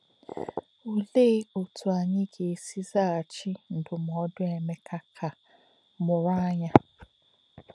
Olee otú anyị ga-esi zaghachi ndụmọdụ Emeka ka “ mụrụ anya”?